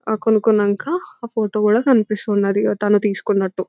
ఆ కొనుక్కున్నాక ఆ ఫోటో కూడా కనిపిస్తుంది తను తీసుకున్నట్టు.